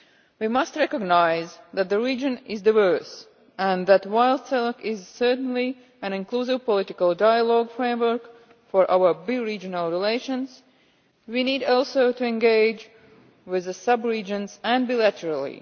We must recognise that the region is diverse, and that while CELAC is certainly an inclusive political dialogue framework for our bi regional relations, we need also to engage with the sub regions and bilaterally.